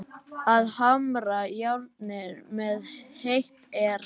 Að hamra járnið meðan heitt er